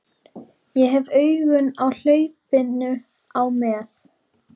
Ég hef augun á hlaupinu á með